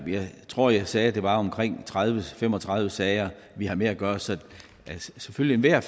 tror jeg sagde det er omkring tredive til fem og tredive sager vi har med at gøre så selvfølgelig er